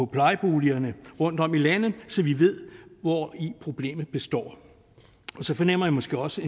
plejeboligerne rundtom i landet så vi ved hvori problemet består og så fornemmer jeg måske også